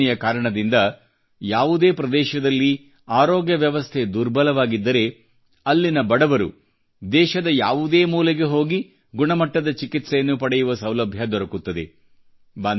ಈ ಯೋಜನೆಯ ಕಾರಣದಿಂದ ಯಾವುದೇ ಪ್ರದೇಶದಲ್ಲಿ ಆರೋಗ್ಯ ವ್ಯವಸ್ಥೆ ದುರ್ಬಲವಾಗಿದ್ದರೆ ಅಲ್ಲಿನ ಬಡವರು ದೇಶದ ಯಾವುದೇ ಮೂಲೆಗೆ ಹೋಗಿ ಗುಣಮಟ್ಟದ ಚಿಕಿತ್ಸೆಯನ್ನು ಪಡೆಯುವ ಸೌಲಭ್ಯ ದೊರಕುತ್ತದೆ